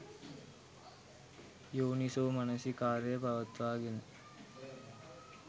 යෝනිසෝමනසිකාරය පවත්වාගෙන